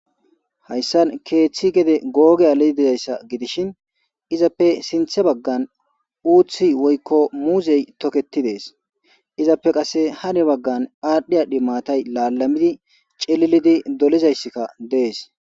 Hayssan keeththi gede googe aleti dizayssa gidishin izappe sinthe baggan uuththi woykko muuzey toketi dees izappe qase hane baggan aadhdhi aadhdhi maatay laalamidi celilidi dolizayssikka dees.